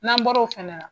N'an bɔr'o fana na